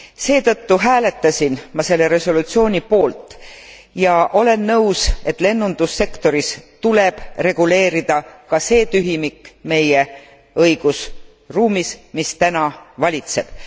Seetõttu hääletasin ma selle resolutsiooni poolt ja olen nõus, et lennundussektoris tuleb reguleerida ka see tühimik meie õigusruumis, mis täna valitseb.